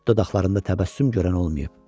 dodaqlarında təbəssüm görən olmayıb.